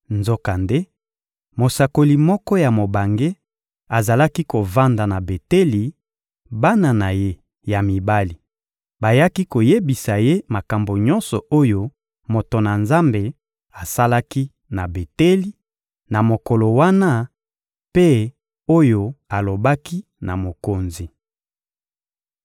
Nzokande, mosakoli moko ya mobange azalaki kovanda na Beteli; bana na ye ya mibali bayaki koyebisa ye makambo nyonso oyo moto na Nzambe asalaki na Beteli, na mokolo wana, mpe oyo alobaki na mokonzi.